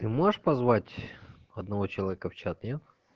ты можешь позвать одного человека в чат нет